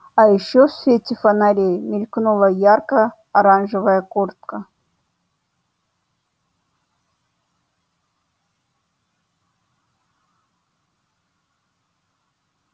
а ещё в свете фонарей мелькнула ярко-оранжевая куртка